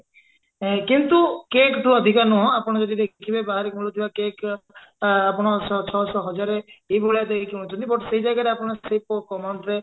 କିନ୍ତୁ cake ଠୁ ଅଧିକା ନୁହଁ ଆପଣ ଯଦି ଦେଖିବେ ବାହାରେ ମିଳୁଥିବା cake ଆ ଆପଣ ଛଅ ଶହ ହଜାରେ ଏଇ ଭଳିଆ ଦେଇକି କିଣୁଛନ୍ତି but ସେଇ ଜାଗାରେ ଆପଣ ସେଇ ସେଇ କମ amount ରେ